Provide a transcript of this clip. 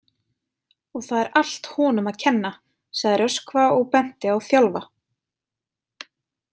Og það er allt honum að kenna, sagði Röskva og benti á Þjálfa.